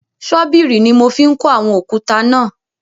Ṣọ́bìrì ni mo fi ń kó àwọn òkúta náà.